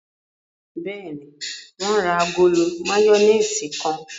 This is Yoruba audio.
Bẹ́ẹ̀ni, wọ́n ra agolo máyónísì kan.